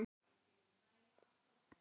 Hervör greip andann á lofti.